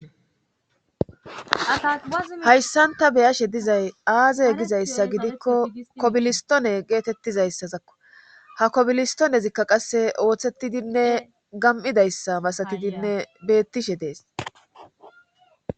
hayssanta beyashe dizay aaze gizayssa gidikko kobilistone geetettizayssazakko ha kobilistonezikka qasse ooththetidinne gam7idayssa masatidinne beettishe dees